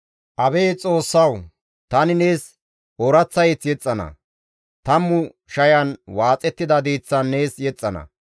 Abeet Xoossawu! Tani nees ooraththa mazamure yexxana; tammu shayan waaxettida diiththan nees yexxana.